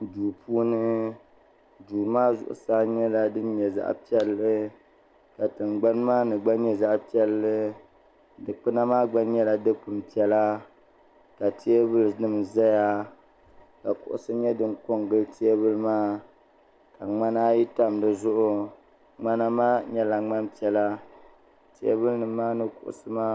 Duu puuni duu maa zuɣusaa nyɛla zaɣ' piɛlli ka tingbanni maa gba nyɛ zaɣi piɛlli dikpuna maa gba nyɛla dikpuno piɛla ka teebuli nim ʒɛya ka kuɣusi nyɛ din ko n gili teebuli maa ka ŋmana ayi tam dizuɣu ŋmana maa nyɛla ŋmani piɛla teebuli nim maa ni kuɣusi maa